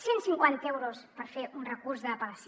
cent cinquanta euros per fer un recurs d’apel·lació